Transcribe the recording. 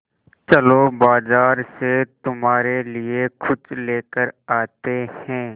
चलो बाज़ार से तुम्हारे लिए कुछ लेकर आते हैं